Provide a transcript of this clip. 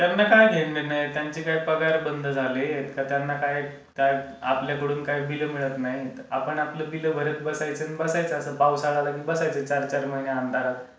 त्यांना काय घेणंदेणं आहे? त्यांचे काही पगार बंद झालेत? की त्यांना काय आपल्याकडून काय बिल मिळत नाही? आपण आपलं बिल भरत बसायचं आणि पावसाळा आला कि बसायचं चार चार महिने अंधारात.